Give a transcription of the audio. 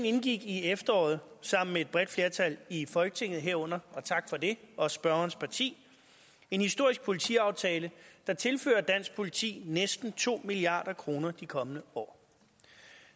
indgik i efteråret sammen med et bredt flertal i folketinget herunder og tak for det også spørgerens parti en historisk politiaftale der tilfører dansk politi næsten to milliard kroner de kommende år